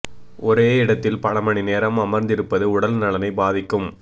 ஒரே இடத்தில் பல மணி நேரம் அமர்ந்திருப்பது உடல் நலனை பாதிக்கும்